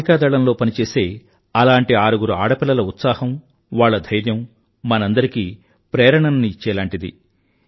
నావికాదళం లో పని చేసే అలాంటి ఆరుగురు ఆడపిల్లల ఉత్సాహం వాళ్ల ధైర్యం మనందరికీ ప్రేరణని ఇచ్చేలాంటిది